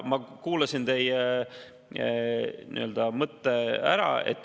Ma kuulasin teie mõtte ära.